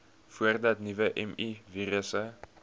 voordat nuwe mivirusse